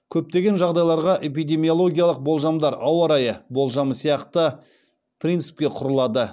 көптеген жағдайларда эпидемиологиялық болжамдар ауа райы болжамы сияқты принципке құрылады